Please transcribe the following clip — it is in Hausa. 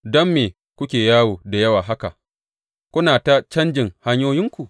Don me kuke yawo da yawa haka, kuna ta canjin hanyoyinku?